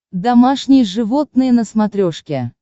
домашние животные на смотрешке